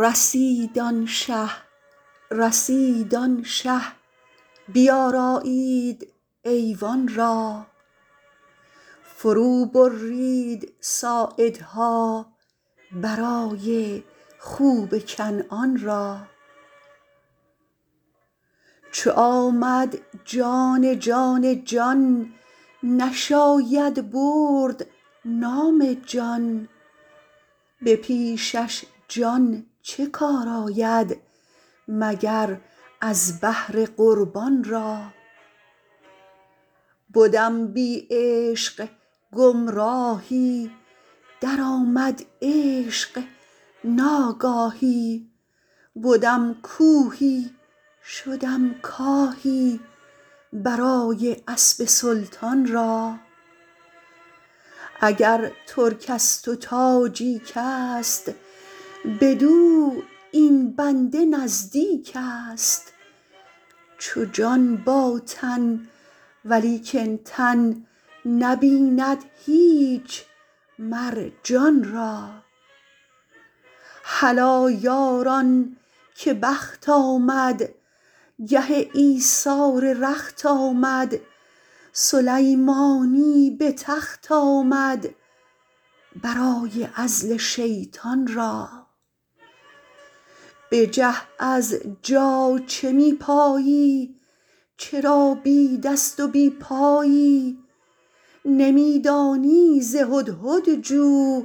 رسید آن شه رسید آن شه بیارایید ایوان را فروبرید ساعدها برای خوب کنعان را چو آمد جان جان جان نشاید برد نام جان به پیشش جان چه کار آید مگر از بهر قربان را بدم بی عشق گمراهی درآمد عشق ناگاهی بدم کوهی شدم کاهی برای اسب سلطان را اگر ترکست و تاجیکست بدو این بنده نزدیکست چو جان با تن ولیکن تن نبیند هیچ مر جان را هلا یاران که بخت آمد گه ایثار رخت آمد سلیمانی به تخت آمد برای عزل شیطان را بجه از جا چه می پایی چرا بی دست و بی پایی نمی دانی ز هدهد جو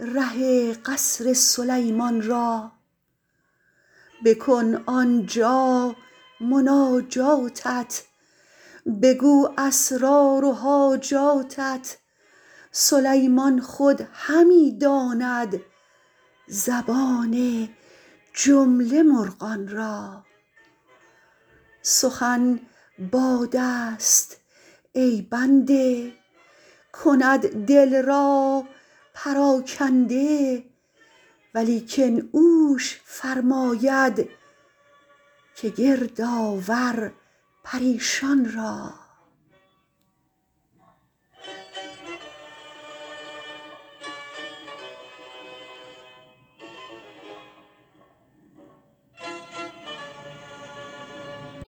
ره قصر سلیمان را بکن آن جا مناجاتت بگو اسرار و حاجاتت سلیمان خود همی داند زبان جمله مرغان را سخن بادست ای بنده کند دل را پراکنده ولیکن اوش فرماید که گرد آور پریشان را